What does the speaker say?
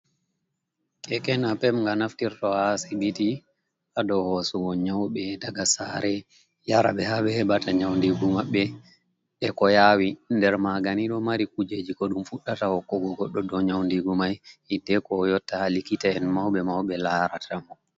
Kekenapep ga naftirta ha asibiti ,hado hosugo nyauɓe daga sare yarabe habe hebata nyaundigu mabbe e ko yawi nder maganido mari kujeji ko dum fuɗdata hokkugo goddo do nyaudigu mai hidde ko oyotta ha likita'en mauɓe mauɓe larata mo.